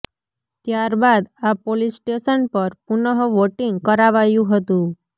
ત્યારબાદ આ police station પર પુનઃ વોટિંગ કરાવાયું હતું